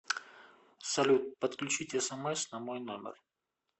салют подключить смс на мой номер